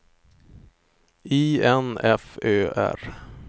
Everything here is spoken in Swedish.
I N F Ö R